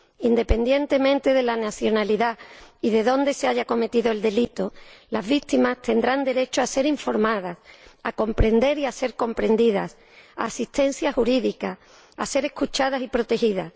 Independientemente de la nacionalidad y de dónde se haya cometido el delito, las víctimas tendrán derecho a ser informadas, a comprender y a ser comprendidas, a asistencia jurídica, a ser escuchadas y protegidas.